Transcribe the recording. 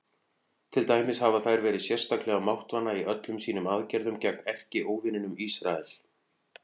Til dæmis hafa þær verið sérstaklega máttvana í öllum sínum aðgerðum gegn erkióvininum Ísrael.